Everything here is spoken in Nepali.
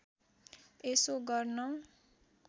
यसो गर्न